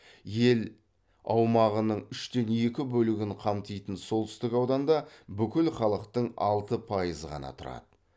ел аумағының үштен екі бөлігін қамтитын солтүстік ауданда бүкіл халықтың алты пайызы ғана тұрады